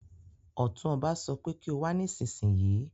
Ọ̀tún ọba sọ pé kí o wá nísinsìnyí